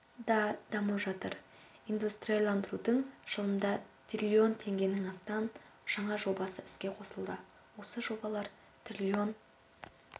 да дамып жатыр индустрияландырудың жылында триллион теңгенің астам жаңа жобасы іске қосылды осы жобалар триллион